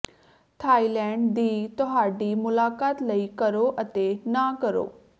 Thailand ਦੀ ਤੁਹਾਡੀ ਮੁਲਾਕਾਤ ਲਈ ਕਰੋ ਅਤੇ ਨਾ ਕਰੋ